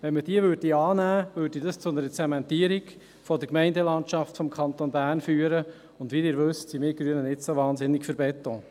Nähme man diese an, führte dies zu einer Zementierung der Gemeindelandschaft des Kantons Bern, und, wie Sie wissen, sind wir Grünen nicht so wahnsinnig für Beton.